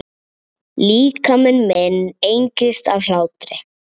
Líkami minn engist af hlátri.